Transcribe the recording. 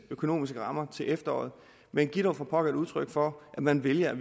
økonomiske rammer til efteråret men giv dog for pokker udtryk for at man vælger at